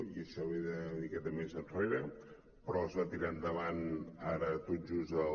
i això ve d’una miqueta més enrere però es va tirar endavant ara tot just el